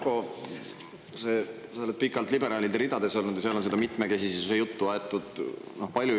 No Yoko, sa oled pikalt liberaalide ridades olnud ja seal on seda mitmekesisuse juttu aetud palju.